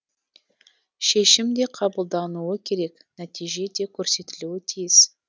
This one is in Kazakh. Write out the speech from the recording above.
шешім де қабылдануы керек нәтиже де көрсетілуі тиіс